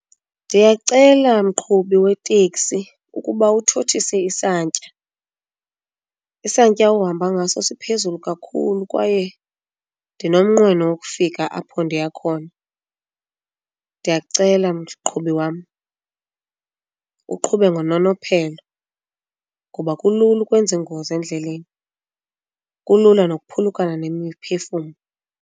Ndiyacela mqhubi weteksi ukuba uthothise isantya. Isantya ohamba ngaso siphezulu kakhulu kwaye ndinomnqweno wokufika apho ndiya khona. Ndiyakucela mqhubi wam uqhube ngononophelo ngoba kulula ukwenza ingozi endleleni, kulula nokuphulukana nemiphefumlo.